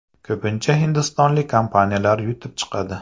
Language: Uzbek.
Ko‘pincha hindistonlik kompaniyalar yutib chiqadi.